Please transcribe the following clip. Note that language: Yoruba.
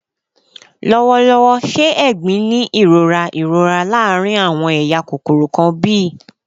Lọwọlọwọ, ṣe "egbin" ni irora irora laarin awọn eya kokoro kan bi?